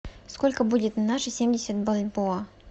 сколько будет на наши семьдесят бальбоа